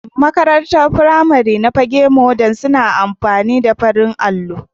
Makarantar firamari ta Fagge modal suna amfani da farin allo.